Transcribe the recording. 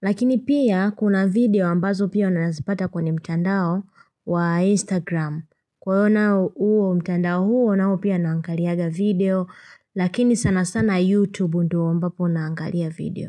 Lakini pia kuna video ambazo pia unanazipata kwenye mtandao wa instagram kwa na uo mtandao huo na uo pia naangaliaga video lakini sana sana youtube ndo ambapo naangalia video.